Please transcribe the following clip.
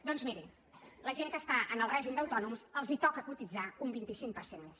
doncs miri a la gent que està en el règim d’autònoms els toca cotitzar un vint cinc per cent més